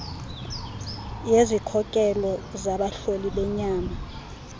yezikhokelo zabahloli benyama